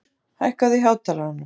Ljótur, hækkaðu í hátalaranum.